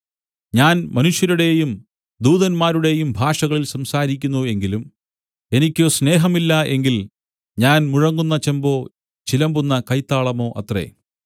ഞാൻ മനുഷ്യരുടെയും ദൂതന്മാരുടെയും ഭാഷകളിൽ സംസാരിക്കുന്നു എങ്കിലും എനിക്ക് സ്നേഹം ഇല്ല എങ്കിൽ ഞാൻ മുഴങ്ങുന്ന ചെമ്പോ ചിലമ്പുന്ന കൈത്താളമോ അത്രേ